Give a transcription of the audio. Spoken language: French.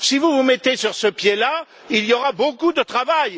Si vous vous mettez sur ce pied là, il y aura beaucoup de travail.